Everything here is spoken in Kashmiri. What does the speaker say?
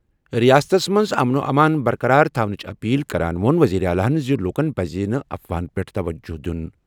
رِیاستَس منٛز امن و امان برقرار تھونٕچ اپیل کران ووٚن وزیر اعلیٰ زِ لوٗکَن پَزِ نہٕ افواہَن پٮ۪ٹھ توجہ دِیُن۔